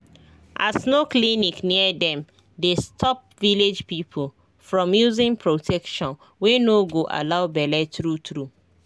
as no clinic near dem dey stop village people from using protection wey no go allow bele true true